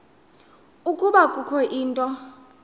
ukuba kukho into